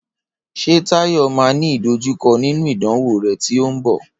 Ṣé Táyọ̀ máà ní ìdojúkọ nínú ìdánwò rè tí o ń bọ?